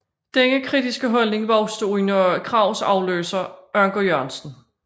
Denne kritiske holdning voksede under Krags afløser Anker Jørgensen